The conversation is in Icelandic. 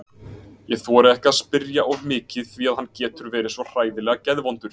Ég þori ekki að spyrja of mikið því að hann getur verið svo hræðilega geðvondur.